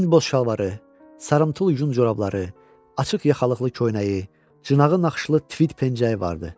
Tünd boz şalvarı, sarımtıl yun corabları, açıq yaxalıqlı köynəyi, cınağı naxışlı tvid pencəyi vardı.